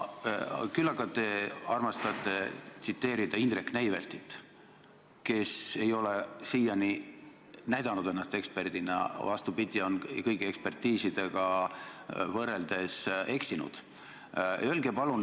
Küll aga armastate tsiteerida Indrek Neiveltit, kes ei ole siiani ennast näidanud eksperdina, vaid, vastupidi, on eksinud, kui otsustada kõigi ekspertiiside järgi.